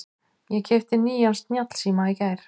Ég keypti nýjan snjallsíma í gær.